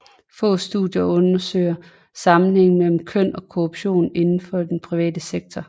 Få studier undersøger sammenhængen mellem køn og korruption inden for den private sektor